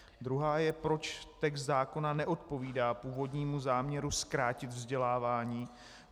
Druhá je, proč text zákona neodpovídá původnímu záměru zkrátit vzdělávání.